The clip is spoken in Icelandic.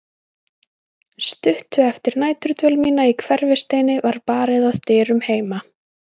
Stuttu eftir næturdvöl mína í Hverfisteini var barið að dyrum heima.